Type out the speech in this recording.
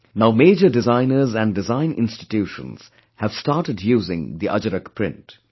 Now major designers and Design Institutions have started using the Ajrak Print